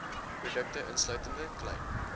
produkte insluitende klein